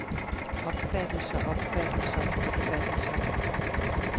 opfattelser opfattelser opfattelser